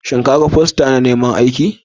Shin ka gan fosta na neman aiki?